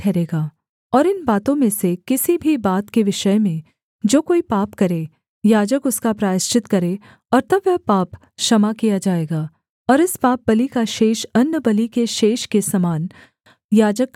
और इन बातों में से किसी भी बात के विषय में जो कोई पाप करे याजक उसका प्रायश्चित करे और तब वह पाप क्षमा किया जाएगा और इस पापबलि का शेष अन्नबलि के शेष के समान याजक का ठहरेगा